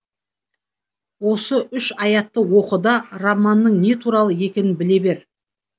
осы үш аятты оқы да романның не туралы екенін біле бер